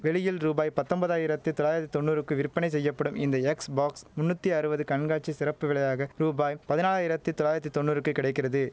வெளியில் ரூபாய் பத்தொம்பதாயிரத்து தொள்ளாயிரத்து தொன்னூறுக்கு விற்பனை செய்யப்படும் இந்த எக்ஸ் பாக்ஸ் முந்நூத்தி அறுபது கண்காட்சி சிறப்பு விலையாக ரூபாய் பதினாலாயிரத்து தொள்ளாயிரத்து தொன்னூறுக்கு கிடைக்கிறது